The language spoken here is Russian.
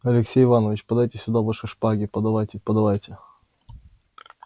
алексей иваныч подавайте сюда ваши шпаги подавайте подавайте